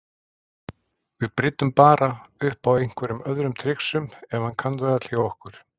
Við bryddum bara upp á einhverjum öðrum trixum ef hann kann þau öll hjá okkur.